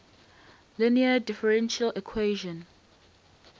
linear differential equation